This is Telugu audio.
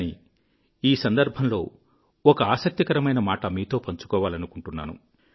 కానీ ఈ సందర్భంలో ఒక ఆసక్తి కరమైన మాట మీతో పంచుకోవాలనుకుంటున్నాను